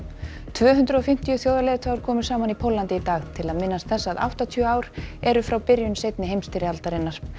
tvö hundruð og fimmtíu þjóðarleiðtogar komu saman í Póllandi í dag til að minnast þess að áttatíu ár eru frá byrjun seinni heimsstyrjaldarinnar